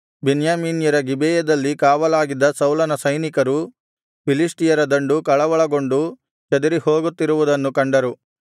ಬೆನ್ಯಾಮೀನ್ಯರ ಗಿಬೆಯದಲ್ಲಿ ಕಾವಲಿದ್ದ ಸೌಲನ ಸೈನಿಕರು ಫಿಲಿಷ್ಟಿಯರ ದಂಡು ಕಳವಳಗೊಂಡು ಚದರಿಹೋಗುತ್ತಿರುವುದನ್ನು ಕಂಡರು